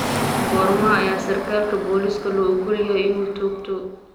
Goorma ayaa sarkaalka booliiska loo ogol yahay inuu toogto?